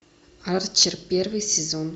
арчер первый сезон